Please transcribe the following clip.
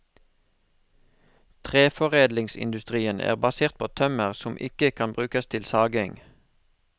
Treforedlingsindustrien er basert på tømmer som ikke kan brukes til saging.